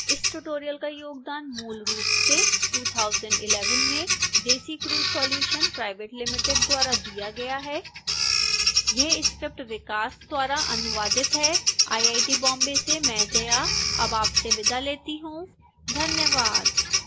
इस tutorial का योगदान मूलरूप से 2011 में desicrew solutions pvt ltd द्वारा दिया गया है यह स्क्रिप्ट विकास द्वारा अनुवादित है आईआईटी बॉम्बे से मैं जया अब आपसे विदा लेती हूं धन्यवाद